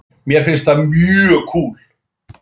Mér finnst það mjög kúl.